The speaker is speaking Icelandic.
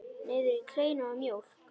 Niður í kleinur og mjólk.